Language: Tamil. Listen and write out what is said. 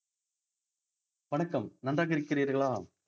வணக்கம் நன்றாக இருக்கிறீர்களா